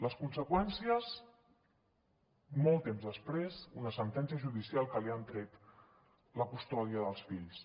les conseqüències molt temps després una sentència judicial que li han tret la custòdia dels fills